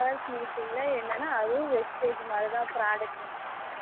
Two hours meeting ல என்னனா அதுவும் vestige மாதிரி தான் product வாங்கணும்